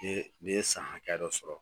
Ni ni ye san hakɛya dɔ sɔrɔ